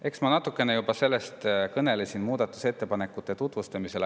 Eks ma natukene sellest juba kõnelesin muudatusettepanekute tutvustamisel.